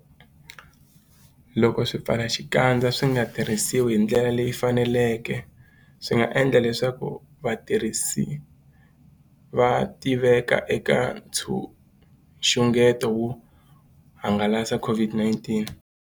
Loko swipfalaxikandza swi nga tirhisiwi hi ndlela leyi faneleke, swi nga endla leswaku vatirhisi va tiveka eka nxungeto wo hangalasa COVID-19.